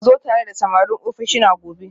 Ku zo tare da samarin ofishina gobe